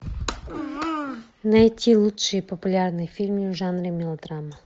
найти лучшие популярные фильмы в жанре мелодрама